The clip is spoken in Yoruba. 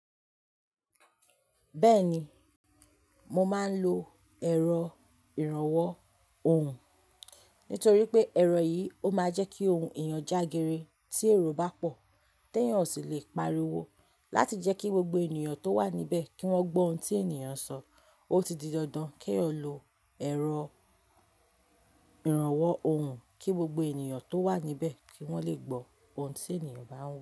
Bẹ́ẹ̀ni, mo máa ń lo ẹ̀rọ ìrànwọ́ ohùn nítorí pé ẹ̀rọ yìí ó máa ń jẹ́ kí ohùn èèyàn jágere. Tí èrò bá pọ̀, tí èèyàn ò sì lè pariwo. Láti jẹ́ kí gbogbo ènìyàn tó wà níbẹ̀ kí wọ́n gbọ́ ohun tí èniyàn sọ, ó ti di dandan kí ẹ lo ẹ̀rọ ìrànwọ́ ohùn kí gbogbo ènìyàn tó wà níbẹ̀ kí wọ́n lè gbọ́ ohun tí èèyàn bá ń wí.